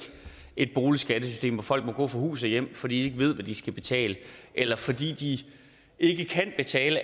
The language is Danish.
et boligskattesystem hvor folk må gå fra hus og hjem fordi de ikke ved hvad de skal betale eller fordi de ikke kan betale